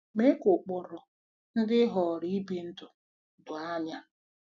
Mee ka ụkpụrụ ndị ị họọrọ ibi ndụ doo anya.